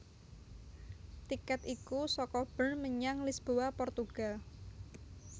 Tikèt iku saka Bern menyang Lisboa Portugal